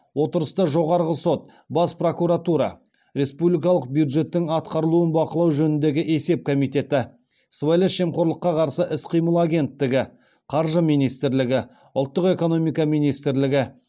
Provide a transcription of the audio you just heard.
отырыста жоғарғы сот бас прокуратура республикалық бюджеттің атқарылуын бақылау жөніндегі есеп комитеті сыбайлас жемқорлыққа қарсы іс қимыл агенттігі қаржы министрлігі ұлттық экономика министрлігі